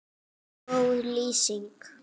Góð lýsing?